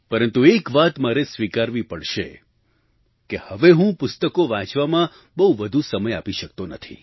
પરંતુ એક વાત મારે સ્વીકારવી પડશે કે હવે હું પુસ્તકો વાંચવામાં બહુ વધુ સમય આપી શકતો નથી